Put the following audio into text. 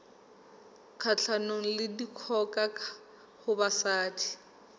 kgahlanong le dikgoka ho basadi